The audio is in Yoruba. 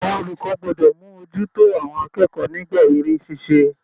Àwọn olùkọ́ gbọ́dọ̀ mú ojú tó àwọn akẹ́kọ̀ọ́ nígbà eré ṣíṣe.